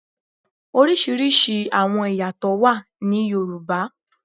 Oriṣiriṣi awọn iyatọ wà ní Yoruba.